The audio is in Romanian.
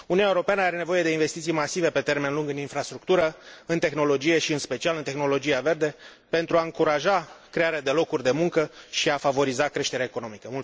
Uniunea Europeană are nevoie de investiții masive pe termen lung în infrastructură, în tehnologie și, în special, în tehnologia verde pentru a încuraja crearea de locuri de muncă și a favoriza creșterea economică.